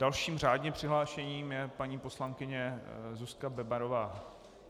Dalším řádně přihlášeným je paní poslankyně Zuzka Bebarová.